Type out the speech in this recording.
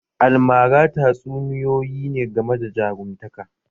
Almara tatsuniyoyi ne game da jarumtaka